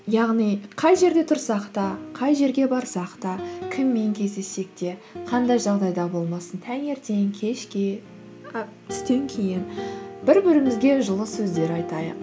яғни қай жерде тұрсақ та қай жерге барсақ та кіммен кездессек те қандай жағдайда болмасын таңертең кешке і түстен кейін бір бірімізге жылы сөздер айтайық